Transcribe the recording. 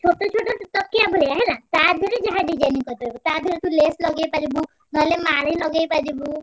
ଛୋଟ ଛୋଟ ତକିଆ ଭଳିଆ ହେଲା ତା ଦିହରେ ଯାହା designing କରିପାରିବୁ, ତା ଦିହରେ ତୁ lace ଲଗେଇପାରିବୁ, ନହେଲେ ମାଳି ଲଗେଇପାରିବୁ।